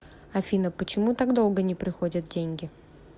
афина почему так долго не приходят деньги